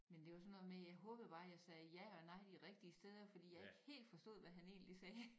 Men det var sådan noget med jeg håbede bare jeg sagde ja og nej de rigtige steder fordi jeg ikke helt forstod hvad han egentlig sagde